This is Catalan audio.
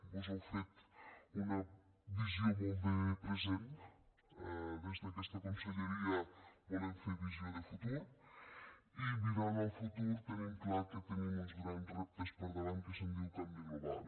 vós heu fet una visió molt de present des d’aquesta conselleria volem fer visió de futur i mirant al futur tenim clar que tenim uns grans reptes per davant que se’n diu canvi global